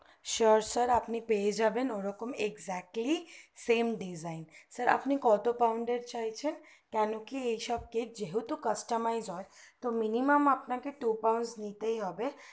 sure sir পেয়ে যাবেন ওরকম ecjectly same desgin sir আপনি কত proud চাইছেন কেন কি এইসব cake যেহেতু customer নয় তো minimum আপনাকে to parcel নিতেই হবে